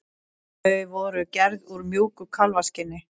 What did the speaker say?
Þau voru gerð úr mjúku kálfskinni.